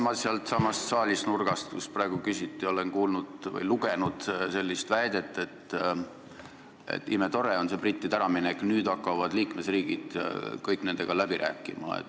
Ma olen sealtsamast saali nurgast, kust praegu küsiti, kuulnud või lugenud sellist väidet, et imetore on see brittide äraminek, nüüd hakkavad liikmesriigid kõik nendega läbi rääkima.